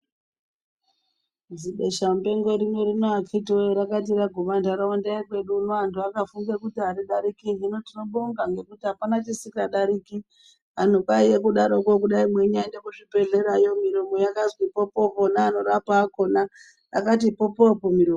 Zibesha mupengo rino rino akhitiwoo rakati raguma ndharaunda yekwedu uno vantu vakafunga kuti aridariki hino tinobonga ngekuti apana chisingadariki. Antu kwaive kudaro ko kudai mweinyaenda kuzvibhedhleya yo miromo yakazi popoopo neanorapa akhona akati popoopo miromo.